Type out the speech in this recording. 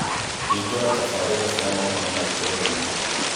hingũra tabarĩra cia mohoro ma itũra-ini